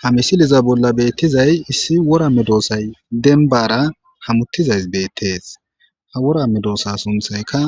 Ha misileza bola betizayi issi wora medoosayi demibara hamutizayisi beteesi ha wora medoosayi sunththayikka